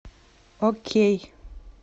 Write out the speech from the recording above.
окей